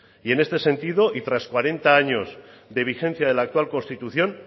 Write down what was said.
y en este sentido y tras cuarenta años de vigencia de la actual constitución